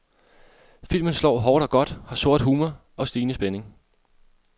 Filmen slår hårdt og godt, har sort humor og stigende spænding.